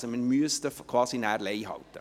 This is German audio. Also: Wir müssten nachher quasi «Lei» halten.